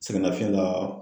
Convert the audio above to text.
Sɛgɛnnafiɲɛn la